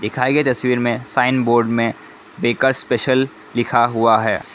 दिखाई गई तस्वीर में साइन बोर्ड में बेकरस स्पेशल लिखा हुआ है।